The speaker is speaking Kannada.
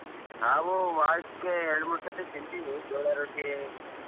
ನಾವು ವಾರಕ್ಕೆ ಎರಡ್ ಮೂರ್ ಸರ್ತಿ ತಿಂತೀವಿ ಜೋಳಾ ರೊಟ್ಟಿ.